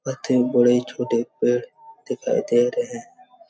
पत्ते बड़े-छोटे पेड़ दिखाई दे रहे--